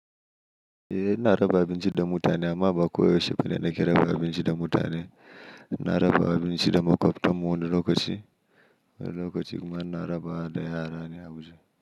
Eh, na raba abinci da mutane amma ba ko yaushe bane na ƙira raba abinci da mutane. Na raba abinci da makwabtan mu wani lokaci, wani lokaci kuma na raba da yara ne a Abuja.